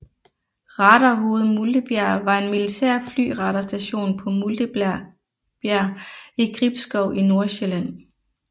Radarhoved Multebjerg var en militær flyradarstation på Multebjerg i Gribskov i Nordsjælland